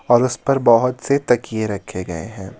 और उस पर बहुत से तकिए रखे गए हैं.